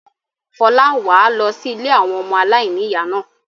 Fọlá, wà á lọ sí ilé àwọn ọmọ aláìníìyá náà.